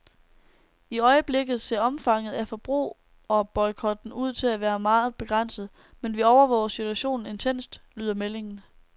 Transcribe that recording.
I øjeblikket ser omfanget af forbrugerboykotten ud til at være meget begrænset, men vi overvåger situationen intenst, lyder meldingen.